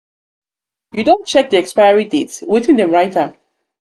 you don check de expiry date wetin them write am?